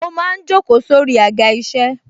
Mo máa ń jókòó sórí Àga isẹ.